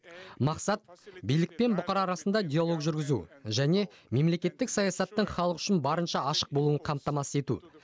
мақсат билік пен бұқара арасында диалог жүргізу және мемлекеттік саясаттың халық үшін барынша ашық болуын қамтамасыз ету